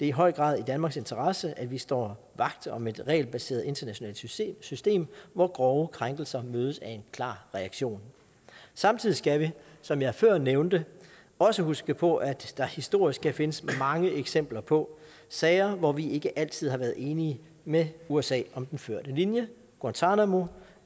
i høj grad i danmarks interesse at vi står vagt om et regelbaseret internationalt system system hvor grove krænkelser mødes af en klar reaktion samtidig skal vi som jeg før nævnte også huske på at der historisk kan findes mange eksempler på sager hvor vi ikke altid har været enige med usa om den førte linje guantánamo